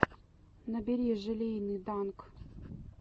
набери желейный данк